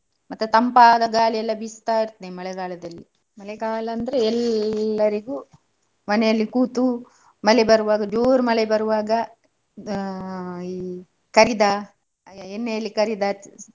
ಮತ್ತೆ ತಂಪಾದ ಗಾಳಿ ಎಲ್ಲಾ ಬೀಸ್ತಾ ಇರ್ತದೆ ಮಳೆಗಾಲದಲ್ಲಿ. ಮಳೆಗಾಲ ಅಂದ್ರೆ ಎಲ್ಲರಿಗೂ ಮನೆಯಲ್ಲಿ ಕೂತು ಮಳೆ ಬರ್ವಾಗ ಜೋರ್ ಮಳೆ ಬರ್ವಾಗ ಆ ಈ ಕರೀದ ಎಣ್ಣೆಯಲ್ಲಿ ಕರೀದ.